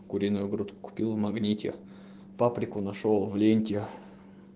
куриную грудку купил в магните паприку нашёл в ленте